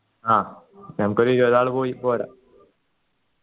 ആ ഞമ്മക്കൊരു ഇരുപതാൾ പോയിപോരാ